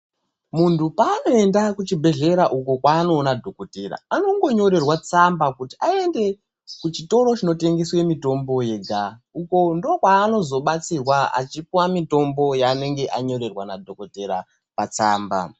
Muntu paanoenda kuchibhedhlera uko kwaanonoona dhokodheya anongonyorrerwa tsamba kuti aende kuchitoro kunotengeswe mitombo yega .Uko ndokwaanozobatsirwa achipuuwa mitombo yaanenge anyorerwa nadhokodheya patsamba